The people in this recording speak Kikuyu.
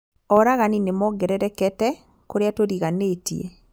Oragani nĩmongererekete kũrĩa tũriganĩtie